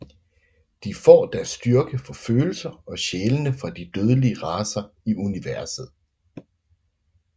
De får deres styrke fra følelser og sjælene fra de dødelige racer i universet